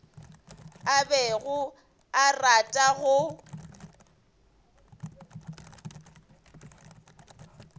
a bego a rata go